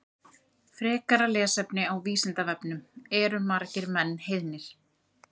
Frekara lesefni á Vísindavefnum Eru margir menn heiðnir?